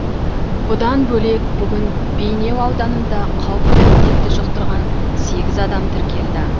бұдан бөлек бүгін бейнеу ауданында қауіпті індетті жұқтырған сегіз адам тіркелді